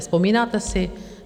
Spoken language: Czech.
Vzpomínáte si?